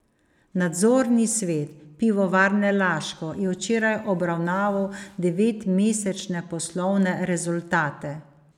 Nadzorni svet Pivovarne Laško je včeraj obravnaval devetmesečne poslovne rezultate.